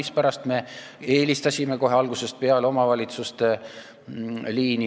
Seepärast me oleme kohe algusest peale eelistanud omavalitsuste liini.